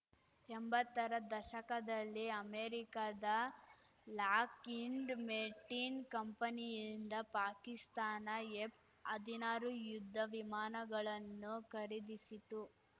ಎಂಬತ್ತರ ದಶಕದಲ್ಲಿ ಅಮೆರಿಕದ ಲಾಕ್‌ಇಂಡ್‌ ಮೆರ್ಟಿನ್‌ ಕಂಪನಿಯಿಂದ ಪಾಕಿಸ್ತಾನ ಎಫ್‌ಹದಿನಾರು ಯುದ್ಧ ವಿಮಾನಗಳನ್ನು ಖರೀದಿಸಿತು